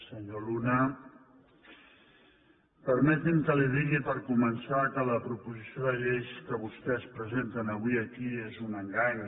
senyor luna permeti’m que li digui per començar que la proposició de llei que vostès presenten avui aquí és un engany